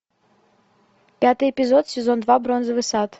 пятый эпизод сезон два бронзовый сад